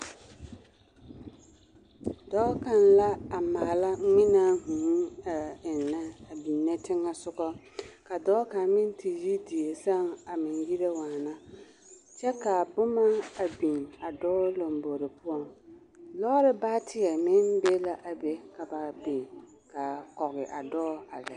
Dɔɔ kaŋ la a maala ngmenaa vūū a eŋnnɛ a biŋne teŋɛsugɔ ka dɔɔ kaŋ meŋ te yi die sɛŋ a meŋ yire waana kyɛ kaa boma a biŋ a dɔɔ lombore poɔŋ lɔɔre baateɛ meŋ be la a be ka ba biŋ a kɔge a dɔɔ a.